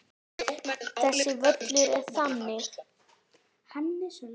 Þessi völlur er þannig.